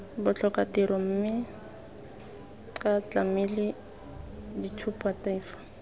botlhokatiro mme ca tlamele tshupatefo